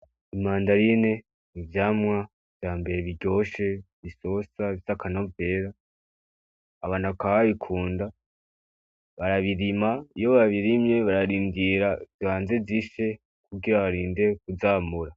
Imandarine, ivyamwa vya mbere biryoshe bisosa bifise akanovera. Abantu bakaba babikunda, barabirima iyo babirimye bararindira zibanze zishe kugira barinde kuzamura.